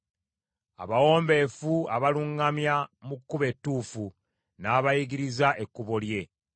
Abawombeefu abaluŋŋamya mu kkubo ettuufu n’abayigiriza ekkubo lye.